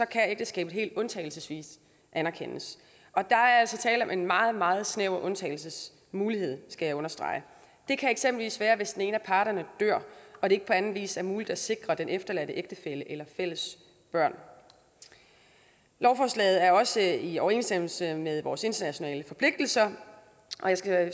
kan ægteskabet helt undtagelsesvist anerkendes og der er altså tale om en meget meget snæver undtagelsesmulighed skal jeg understrege det kan eksempelvis være hvis den ene af parterne dør og det ikke på anden vis er muligt at sikre den efterladte ægtefælle eller fælles børn lovforslaget er også i overensstemmelse med vores internationale forpligtelser og jeg skal